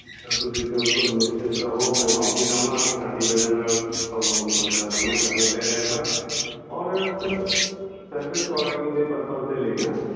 Sir ਤੁਸੀਂ ਬਿਲਕੁਲ ਨਿਸ਼ਚਿੰਤ ਰਹੋ ਮੈਂ ਮਾਫ਼ੀ ਚਾਹੁੰਦਾ ਹਾਂ ਕਿ ਸਾਡੀ ਵਜ੍ਹਾ ਨਾਲ ਤੁਹਾਨੂੰ ਇਸ ਸਮੱਸਿਆ ਦਾ ਸਾਹਮਣਾ ਕਰਨਾ ਪੈ ਰਿਹਾ ਹੈ ਔਰ sir service quality ਦੇ purpose ਲਈ ਨਾ